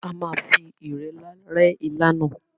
À máa fi irẹlá rẹ ilá náà.